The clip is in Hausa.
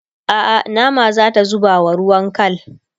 a'a nama zata zubawa ruwan kal